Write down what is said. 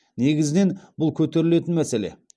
негізінен бұл көтерілетін мәселе